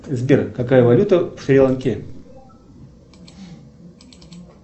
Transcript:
сбер какая валюта в шри ланке